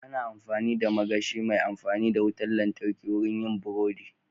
Ana amfani da magashi mai amfani da wutar lantarki wurin yin burodi.